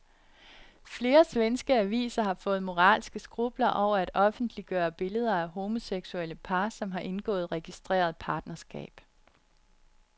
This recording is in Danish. Flere svenske aviser har fået moralske skrupler over at offentliggøre billeder af homoseksuelle par, som har indgået registreret partnerskab.